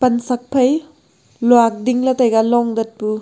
pansiak phai luak dingley taiga long datpu.